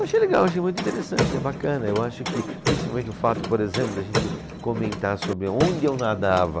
Achei legal, achei muito interessante, é bacana, eu acho que principalmente o fato, por exemplo, de a gente comentar sobre onde eu nadava,